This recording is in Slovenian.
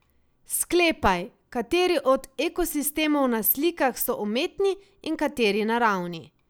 Sklepaj, kateri od ekosistemov na slikah so umetni in kateri naravni.